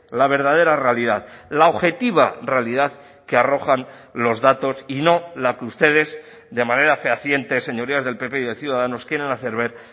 la verdadera realidad la objetiva realidad que arrojan los datos y no la que ustedes de manera fehaciente señorías del pp y de ciudadanos quieren hacer ver